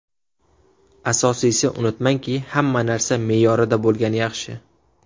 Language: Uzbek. Asosiysi, unutmangki, hamma narsa me’yorida bo‘lgani yaxshi.